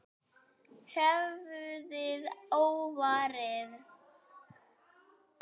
Höfuðið óvarið.